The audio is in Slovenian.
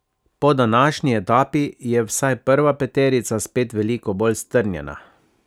Po današnji etapi je vsaj prva peterica spet veliko bolj strnjena.